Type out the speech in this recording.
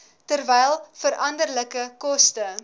terwyl veranderlike koste